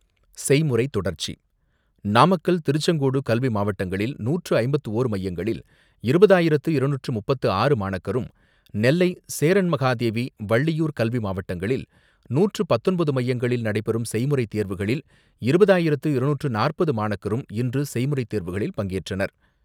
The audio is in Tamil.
செய்முறை தொடர்ச்சி, நாமக்கல் திருச்செங்கோடு கல்வி மாவட்டங்களில் நூற்று ஐம்பத்து ஓர் மையங்களில் இருபதாயிரத்து இருநூற்று முப்பத்து ஆறு மாணக்கரும் நெல்லை சேரன் மகாதேவி வள்ளியூர் கல்வி மாவட்டங்களில் நூற்று பத்தொன்பது மையங்களில் நடைபெறும் செய்முறை தேர்வுகளில் இருபதாயிரத்து இருநூற்று நாற்பது மாணக்கரும் இன்று செய்முறை தேர்வுகளில் பங்கேற்றனர்.